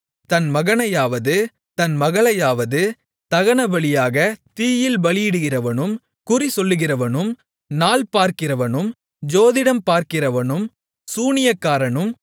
தன் மகனையாவது தன் மகளையாவது தகனபலியாகத் தீயில் பலியிடுகிறவனும் குறிசொல்லுகிறவனும் நாள் பார்க்கிறவனும் ஜோதிடம் பார்க்கிறவனும் சூனியக்காரனும்